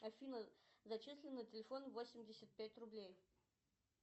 афина зачисли на телефон восемьдесят пять рублей